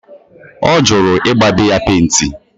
O juru i gba be ya penti